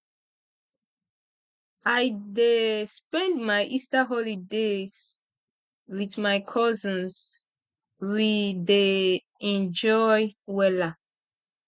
i dey spend my easter holidays wit my cousins we dey enjoy wella